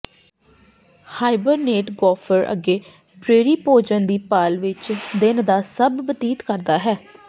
hibernate gopher ਅੱਗੇ prairie ਭੋਜਨ ਦੀ ਭਾਲ ਵਿਚ ਦਿਨ ਦਾ ਸਭ ਬਤੀਤ ਕਰਦਾ ਹੈ